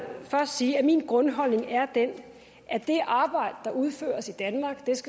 først sige at min grundholdning er den at det arbejde der udføres i danmark